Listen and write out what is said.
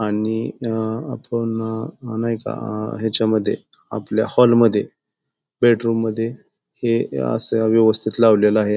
आणि अ आपण नाही का अ ह्याच्यामध्ये आपल्या हॉल मध्ये बेडरूम मध्ये हे असे व्यवस्थित लावलेल आहे.